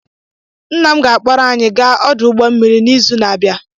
Nna m ga-akpọrọ anyị gaa ọdụ ụgbọ mmiri n'izu na-abịa